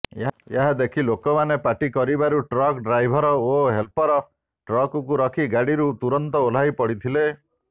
ଏହାଦେଖି ଲୋକମାନେ ପାଟି କରିବାରୁ ଟ୍ରକ ଡ୍ରାଇଭର ଓ ହେଲପର ଟ୍ରକକୁ ରଖି ଗାଡିରୁ ତୁରନ୍ତ ଓହ୍ଲାଇ ପଡିଥିଲେ